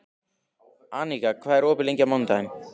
Aníka, hvað er opið lengi á mánudaginn?